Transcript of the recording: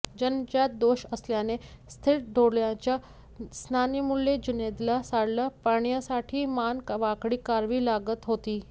जन्मजात दोष असल्याने स्थिर डोळ्यांच्या स्नायूमुळे जुनैदला सरळ पाहण्यासाठी मान वाकडी करावी लागत होती